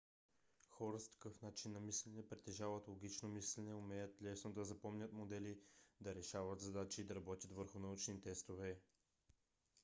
хора с такъв начин на мислене притежават логично мислене умеят лесно да запомнят модели да решават задачи и да работят върху научни тестове